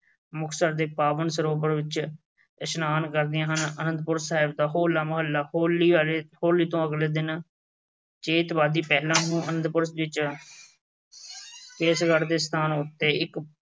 ਮੁਕਤਸਰ ਦੇ ਪਾਵਨ ਸਰੋਵਰ ਵਿੱਚ ਇਸ਼ਨਾਨ ਕਰਦੀਆਂ ਹਨ। ਆਨੰਦਪੁਰ ਸਾਹਿਬ ਦਾ ਹੋਲਾ-ਮਹੱਲਾ। ਹੋਲੀ ਵਾਲੇ ਅਹ ਹੋਲੀ ਤੋਂ ਅਗਲੇ ਦਿਨ ਆਨੰਦਪੁਰ ਵਿੱਚ ਕੇਸਗੜ੍ਹ ਦੇ ਸਥਾਨ ਉੱਤੇ ਇੱਕ